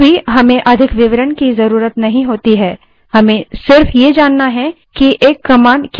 कभीकभी हमें अधिक विवरण की ज़रूरत नहीं होती हमें सिर्फ ये जानना होता है कि command क्या करती है